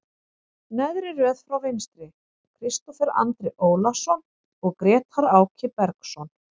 Neðri röð frá vinstri, Kristófer Andri Ólason og Grétar Áki Bergsson.